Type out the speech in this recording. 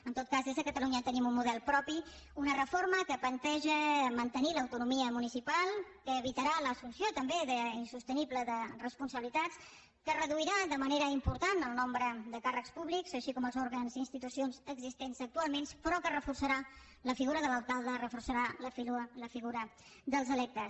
en tot cas des de catalunya tenim un model propi una reforma que planteja mantenir l’autonomia municipal que evitarà l’assumpció també insostenible de responsabilitats que reduirà de manera important el nombre de càrrecs públics així com els òrgans i institucions existents actualment però que reforçarà la figura de l’alcalde reforçarà la figura dels electes